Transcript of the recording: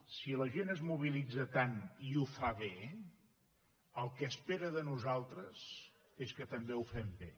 si la gent es mobilitza tant i ho fa bé el que espera de nosaltres és que també ho fem bé